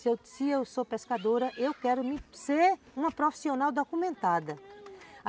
Se eu sou pescadora, eu quero ser uma profissional documentada.